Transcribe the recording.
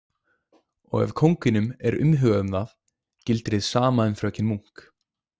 Og ef kónginum er umhugað um það gildir hið sama um fröken Munk.